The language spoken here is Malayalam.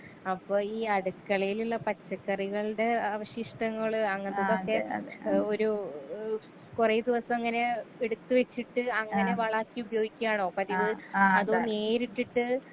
അപ്പൊ ഈ അടുക്കളേലുള്ള പച്ചക്കറികൾടെ അവശിഷ്ടങ്ങള് അങ്ങൻത്തതൊക്കെ ഒരു ഏ കൊറേ ദിവസങ്ങനെ എടുത്ത് വെച്ചിട്ട് അങ്ങനെ വളാക്കി ഉപയോഗിക്കാണോ പതിവ് അതും നേരിട്ടിട്ട്.